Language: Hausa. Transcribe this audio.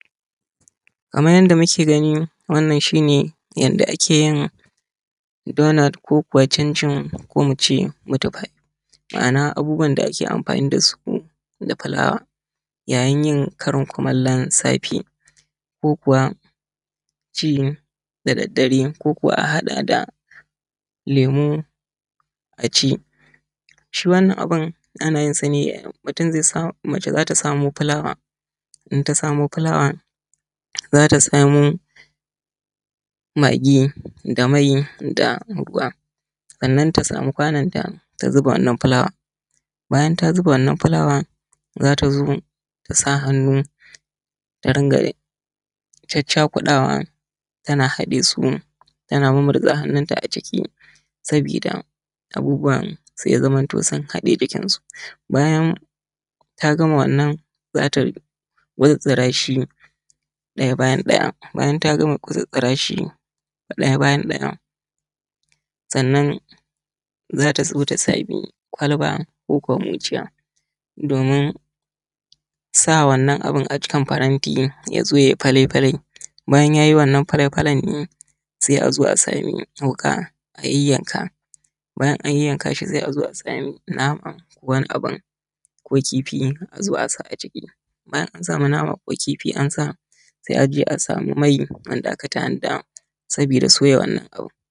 Kaman yanda muke gani wannan shi ne yanda ake yin donot ko kuma cincin ko kuma in ce mitifai ma’ana abubuwan da ake amfani da filawa yayin yin karin kumallon safe ko kuwa in ce da daddare ko kuma a haɗa da lemu a ci shi. Wannan abun ana yin sa ne mace za ta samo filawa in ta samo filawa za ta samo magi da mai da ruwa sannan ta samu kwanonta ta zuba wannan filawan. Bayan ta zuba wanan filawan za ta zo tasa hanu ta dinga caccakuɗawa tana haɗe su tana mumunrza hannunta a ciki, sabida abubuwan se ya zaman to sun haɗe jikin su bayan ta gama wannan za ta murzula shi ɗaya bayan ɗaya bayan ta gama kutsutsura shi ɗaya bayan ɗaya sannan zata sami kwalba koko micciya domin sa wanna abn a cikin faranti yazo yayi fale fale bayan yayi wannan fale falen se azo a samu toka a yayyanka bayan an yayyankashi se azo a samu nama wani abun ko kifi azo asa a ciki bayan ansa nama ko kifi ansa se azo a samu mai wanda akasa a wuta sabida soya wannan abin.